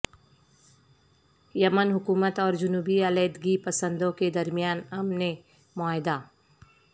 یمن حکومت اور جنوبی علیحدگی پسندوں کے درمیان امن معاہدہ